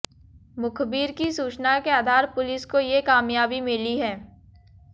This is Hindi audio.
मुखबिर की सूचना के आधार पुलिस को ये कामयाबी मिली है